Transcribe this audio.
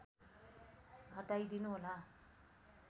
हटाइदिनु होला